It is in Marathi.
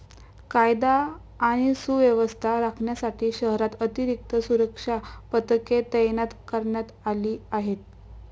कायदा आणि सुव्यवस्था राखण्यासाठी शहरात अतिरिक्त सुरक्षा पथके तैनात करण्यात आली आहेत.